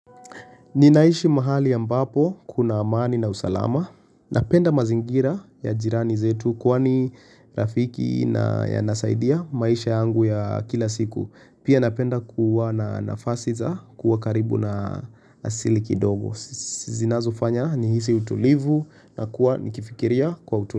Ninaishi mahali ambapo kuna amani na usalama. Napenda mazingira ya jirani zetu kwani rafiki na yanasaidia maisha yangu ya kila siku. Pia napenda kuwa na nafasi za kuwa karibu na asili kidogo. Zinazo fanya ni hisi utulivu na kuwa nikifikiria kwa utulivu.